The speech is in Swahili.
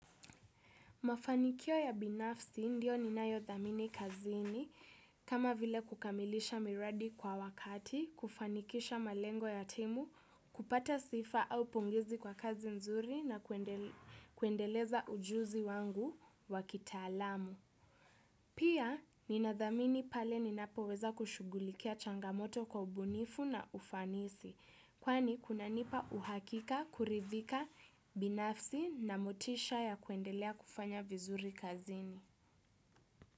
Mafanikio ya binafsi ndio ninayothamini kazini kama vile kukamilisha miradi kwa wakati, kufanikisha malengo ya timu, kupata sifa au pongezi kwa kazi nzuri na kuendeleza ujuzi wangu wa kitaalamu. Pia, ninathamini pale ninapoweza kushughulikia changamoto kwa ubunifu na ufanisi, kwani kunanipa uhakika, kuridhika, binafsi na motisha ya kuendelea kufanya vizuri kazini.